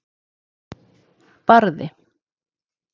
Barði